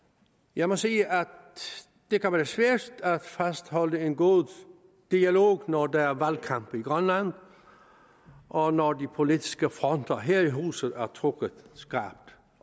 jeg må sige at det kan være svært at fastholde en god dialog når der er valgkamp i grønland og når de politiske fronter her i huset er trukket skarpt